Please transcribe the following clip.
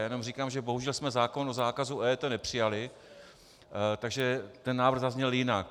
Já jenom říkám, že bohužel jsme zákon o zákazu EET nepřijali, takže ten návrh zazněl jinak.